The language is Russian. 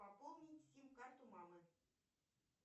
пополнить сим карту мамы